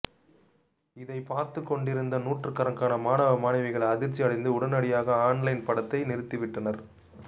இதை பார்த்துக்கொண்டு இருந்த நூற்றுக்கணக்கான மாணவ மாணவிகள் அதிர்ச்சி அடைந்து உடனடியாக ஆன்லைன் படத்தை நிறுத்தி விட்டனர்